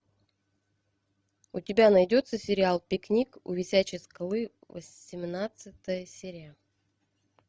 у тебя найдется сериал пикник у висячей скалы восемнадцатая серия